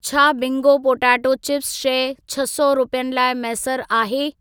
छा Bingo potato chips शइ छह सौ रुपियनि लाइ मैसर आहे?